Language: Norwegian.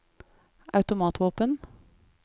automatvåpen